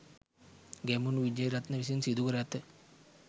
ගැමුණු විජේරත්න විසින් සිදුකර ඇත